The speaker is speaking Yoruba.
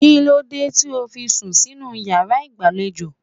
Kíló dé tí o fi sùn sínú yàrá ìgbàlejò?